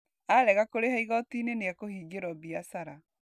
Arega kũrĩha igoti nĩ ekũhingĩrwo biacara.